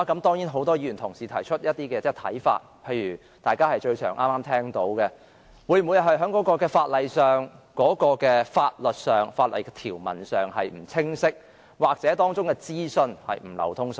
當然，很多議員也提出一些看法，例如大家剛才經常提到的一點，也就是會否因為在法律上或法例的條文不清晰，又或當中的資訊不流通所致？